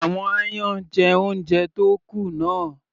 Àwọn aáyán jẹ oúnjẹ tó kù náà.